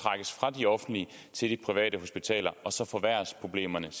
trækkes fra de offentlige til de private hospitaler og så forværres problemerne